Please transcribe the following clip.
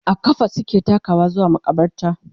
a ƙafa suke takawa zuwa maƙabarta